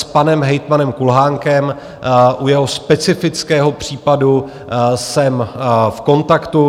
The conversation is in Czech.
S panem hejtmanem Kulhánkem u jeho specifického případu jsem v kontaktu.